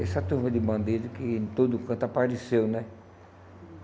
Essa turma de bandidos que em todo canto apareceu, né?